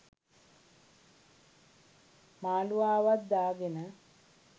මාළුවාවත් දාගෙන